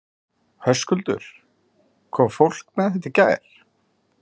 Höskuldur: Kom fólk með þetta í gær?